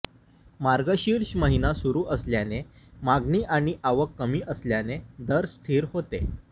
मार्गशिर्ष महिना सुरू असल्याने मागणी आणि आवक कमी असल्याने दर स्थिर होते